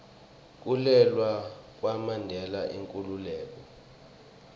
kulwela kwamandela inkhululeko